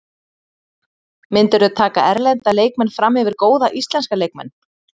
Myndirðu taka erlenda leikmenn framyfir góða íslenska leikmenn?